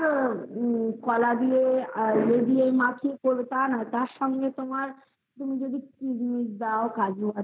তোমার কলা দিয়ে মাখিয়ে তারসাথে তোমার তুমি যদি কিসমিস দাও কাজু